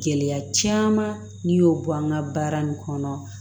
Gɛlɛya caman n'i y'o bɔ an ka baara nin kɔnɔ